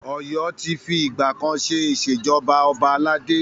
Ọ̀yọ́ ti fi ìgbà kan ṣe Ìṣèjọba ọba aládé.